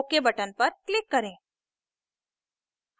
ok button पर click करें